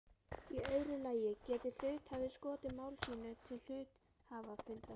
Í öðru lagi getur hluthafi skotið mál sínu til hluthafafundar.